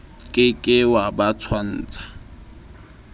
ke ke wa ba tshwantsha